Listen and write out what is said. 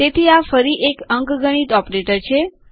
તેથી આ ફરી એક અંકગણિત ઓપરેટર છે